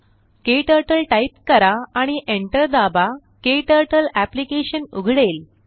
क्टर्टल type करा आणि enter दाबा क्टर्टल अप्लिकेशन उघडेल